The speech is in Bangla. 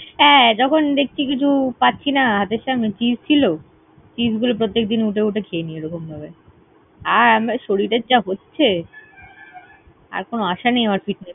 হ্যাঁ, যখন দেখছি কিছু পাচ্ছি না, হাতের সামনে cheese ছিল। cheese গুলো প্রতেক দিন উঠে উঠে খেয়ে নিই রকমভাবে। আর আমরা শরীরের যা হচ্ছে, আর কোনো আসা নেই আমার fitness ।